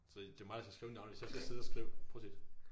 Så det mig der skal skrive navnene hvis jeg skal sidde og skrive prosit